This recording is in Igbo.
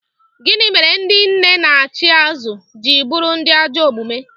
Gịnị mere ndị nne na-achị azụ ji bụrụ ndị ajọ omume?